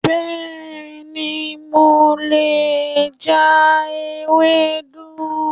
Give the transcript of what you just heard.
Bẹ́ẹ̀ ni, mo lè ja Ewedu